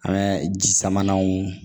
An bɛ ji samananw